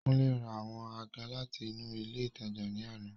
Kunle ra àwọn àga láti inú ilé ìtajà ní àná.